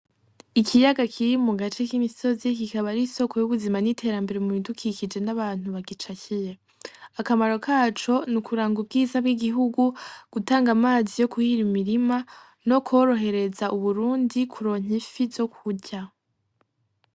Ikiyaga kiri mugace k'imisozi, kikaba ari isoko ry'ubuzima n'iterambere mu bidukikije n'abantu bagicakiye, akamaro kaco nukuranga ubwiza bw'igihugu, gutanga amazi yo kuhira imirima no korohereza u Burundi mu kuronka ifi zo kurya.